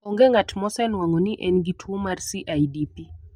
Onge ng'at mosenwang'o ni en gi tuwo mar CIDP.